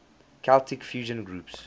celtic fusion groups